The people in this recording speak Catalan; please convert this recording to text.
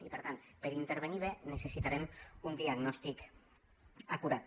i per tant per intervenir bé necessitarem un diagnòstic acurat